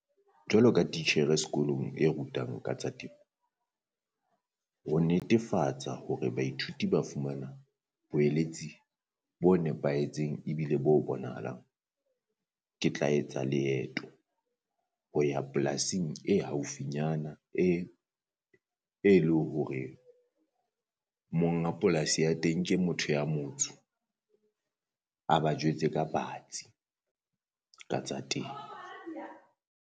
Jwalo ka titjhere sekolong e rutang ka tsa temo, ho netefatsa hore baithuti ba fumana boeletsi bo nepahetseng, ebile bo bonahalang. Ke tla etsa leeto ho ya polasing e haufi nyana e e lo hore monga polasi ya teng ke motho ya motsho, a ba jwetse ka batsi ka tsa temo.